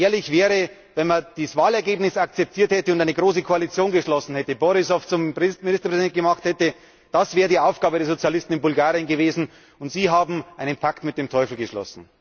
Ehrlich wäre es gewesen, wenn man das Wahlergebnis akzeptiert hätte und eine große Koalition geschlossen hätte, Borissow zum Ministerpräsidenten gemacht hätte das wäre die Aufgabe der Sozialisten in Bulgarien gewesen, und sie haben einen Pakt mit dem Teufel geschlossen.